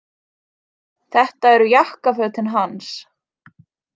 Þetta eru jakkafötin hans